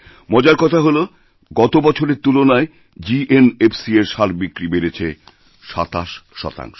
মজার কথা হলো গত বছরের তুলনায় জিএনএফসি এর সার বিক্রিবেড়েছে ২৭ শতাংশ